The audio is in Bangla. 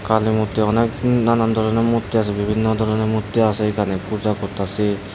কালী মূর্তি অনেক নানান ধরনের মূর্তি আসে বিভিন্ন ধরনের মূর্তি আসে এখানে পূজা করতাসে।